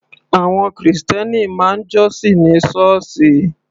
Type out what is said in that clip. Àwọn krìstẹ́nì máa ń jọ́sìn ní sọ́ọ̀sì.